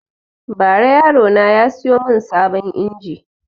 Ba ra yaro na ya siyo mun sabon injin